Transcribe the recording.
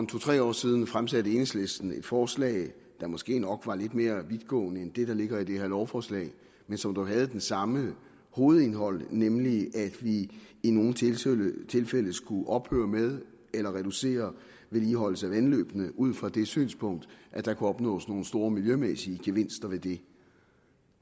to tre år siden fremsatte enhedslisten et forslag der måske nok var lidt mere vidtgående end det der ligger i det her lovforslag men som dog havde det samme hovedindhold nemlig at vi i nogle tilfælde skulle ophøre med eller reducere vedligeholdelsen af vandløbene ud fra det synspunkt at der kunne opnås nogle store miljømæssige gevinster ved det